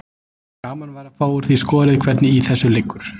Gaman væri að fá úr því skorið hvernig í þessu liggur.